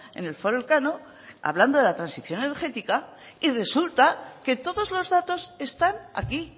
en el foro elcano hablando de la transición energética y resulta que todos los datos están aquí